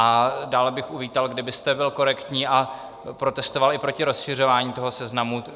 A dále bych uvítal, kdybyste byl korektní a protestoval i proti rozšiřování toho seznamu.